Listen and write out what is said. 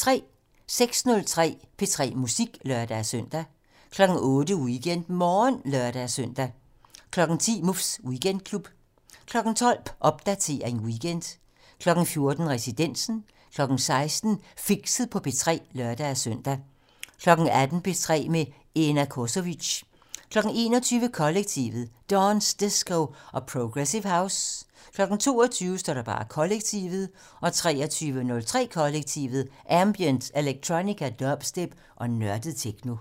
06:03: P3 Musik (lør-søn) 08:00: WeekendMorgen (lør-søn) 10:00: Muffs Weekendklub 12:00: Popdatering weekend 14:00: Residensen 16:00: Fixet på P3 (lør-søn) 18:00: P3 med Ena Cosovic 21:00: Kollektivet: Dance, disco og progressive house 22:00: Kollektivet 23:03: Kollektivet: Ambient, electronica, dubstep og nørdet techno